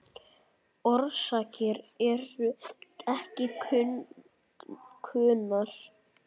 Orsakir eru ekki kunnar.